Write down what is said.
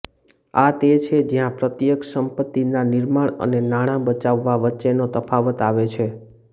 આ તે છે જ્યાં પ્રત્યક્ષ સંપત્તિના નિર્માણ અને નાણાં બચાવવા વચ્ચેનો તફાવત આવે છે